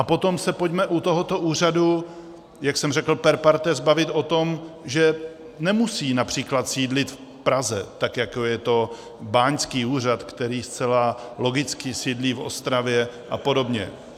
A potom se pojďme u tohoto úřadu, jak jsem řekl, per partes, bavit o tom, že nemusí například sídlit v Praze, tak jako je to báňský úřad, který zcela logicky sídlí v Ostravě, a podobně.